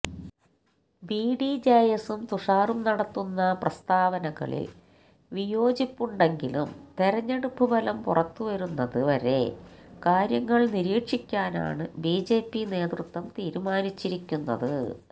ബിഡിജെഎസും തുഷാറും നടത്തുന്ന പ്രസാതാവനകളിൽ വിയോജിപ്പുണ്ടെങ്കിലും തെരഞ്ഞെടുപ്പ് ഫലം പുറത്ത് വരുന്നത് വരെ കാര്യങ്ങൾ നിരീക്ഷിക്കാനാണ് ബിജെപി നേതൃത്വം തീരുമാനിച്ചിരിക്കുന്നത്